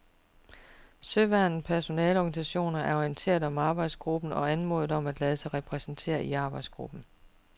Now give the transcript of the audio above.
Søværnets personaleorganisationer er orienteret om arbejdsgruppen og anmodet om at lade sig repræsentere i arbejdsgruppen.